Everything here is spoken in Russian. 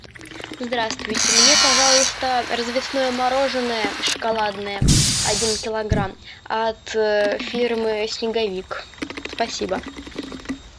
здравствуйте мне пожалуйста развесное мороженое шоколадное один килограмм от фирмы снеговик спасибо